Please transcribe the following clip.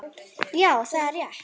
Já, það er rétt.